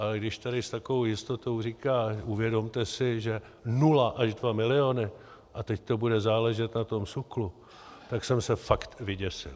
Ale když tady s takovou jistotou říká: uvědomte si, že nula až dva miliony, a teď to bude záležet na tom SÚKLu, tak jsem se fakt vyděsil.